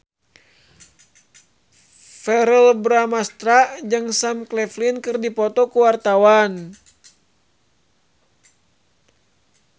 Verrell Bramastra jeung Sam Claflin keur dipoto ku wartawan